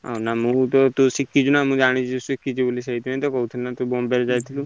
ହଁ ନା ମୁଁ ତ ତୁ ଶିଖିଚୁ ନାଁ ମୁଁ ଜାଣିଛି ଶିଖିଚୁ ବୋଲି ସେଇଠି ପାଇଁ କହୁଥିଲିନାଁ ତୁ ତ ବମ୍ବେ ଯାଇଥିଲୁ।